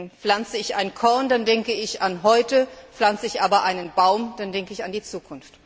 Denn pflanze ich ein Korn, dann denke ich an heute, pflanze ich aber einen Baum, dann denke ich an die Zukunft.